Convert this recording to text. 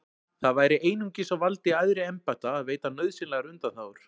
Það væri einungis á valdi æðri embætta að veita nauðsynlegar undanþágur.